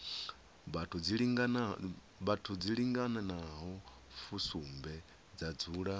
vhathu dzilinganaho fusumbe dza dzula